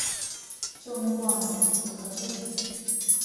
черный клановец закачай